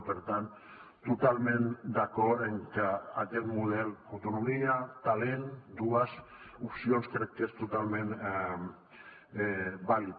i per tant totalment d’acord amb que aquest model autonomia talent dues opcions és totalment vàlid